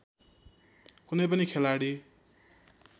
कुनै पनि खेलाडी